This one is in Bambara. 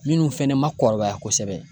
Minnu fɛnɛ ma kɔrɔbaya kosɛbɛ